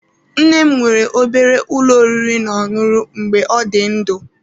Nne m nwere obere ụlọ oriri na oṅụru mgbe ọ dị ndụ.